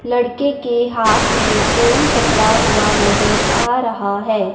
लड़के के हाथ में फोन पकड़ा हुआ नजर आ रहा है।